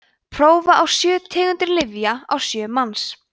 prófa á sjö tegundir lyfja á sjö manns